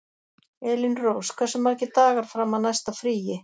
Elínrós, hversu margir dagar fram að næsta fríi?